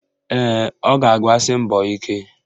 Ee, ọ ga-abasi mbọ ike